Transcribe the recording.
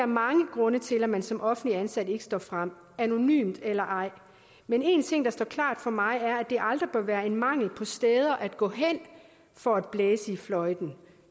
mange grunde til at man som offentligt ansat ikke står frem anonymt eller ej men en ting der står klart for mig er at det aldrig bør være en mangel på steder at gå hen for at blæse i fløjten